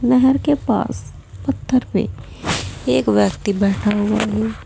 नहर के पास पत्थर पे एक व्यक्ति बैठा हुआ है।